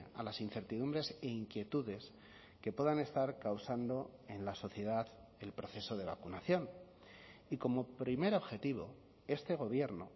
a las incertidumbres e inquietudes que puedan estar causando en la sociedad el proceso de vacunación y como primer objetivo este gobierno